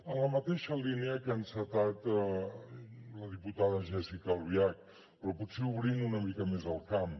en la mateixa línia que ha encetat la diputada jéssica albiach però potser obrint una mica més el camp